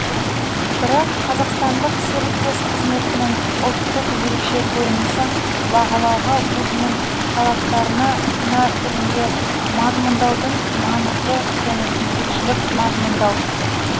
бірақ қазақстандық серіктес қызметінің ұлттық ерекше көрінісін бағалауға өзінің талаптарын кінә түрінде мазмұндаудың маңызды және жетекшілік мазмұндау